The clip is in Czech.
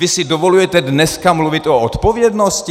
Vy si dovolujete dneska mluvit o odpovědnosti?